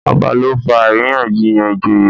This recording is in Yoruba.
ọba ló fà àríyànjiyàn ìjòyè.